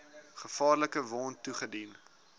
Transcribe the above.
gevaarlike wond toegedien